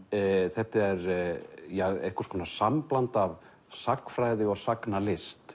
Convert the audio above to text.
þetta er einhvers konar sambland af sagnfræði og sagnalist